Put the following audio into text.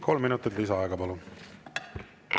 Kolm minutit lisaaega, palun!